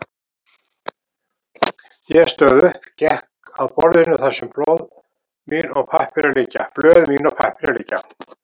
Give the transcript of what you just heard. Ég stóð upp, gekk að borðinu þar sem blöð mín og pappírar liggja.